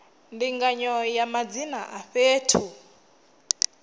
ndinganyo ya madzina a fhethu